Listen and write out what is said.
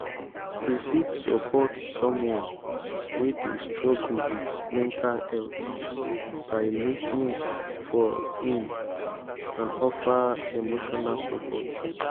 you fit support someone wey dey struggle with mental health by lis ten ing for im and offer emotional support.